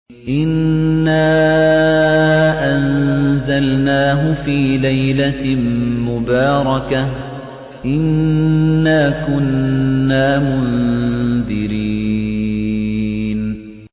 إِنَّا أَنزَلْنَاهُ فِي لَيْلَةٍ مُّبَارَكَةٍ ۚ إِنَّا كُنَّا مُنذِرِينَ